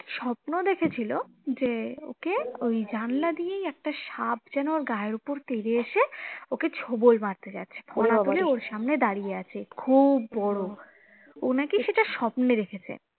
নাকি স্বপ্ন দেখেছিলো যে ওকে ওই জানলা দিয়েই একটা সাপ যেন ওর গায়ের ওপর তেড়ে এসে ওকে ছোবল মারতে যাচ্ছে খুব বড়ো ও নাকি সেটা স্বপ্নে দেখেছে